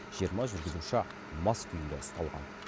жиырма жүргізуші мас күйінде ұсталған